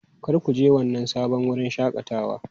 Kar ku je wannan sabon wurin shakatawa!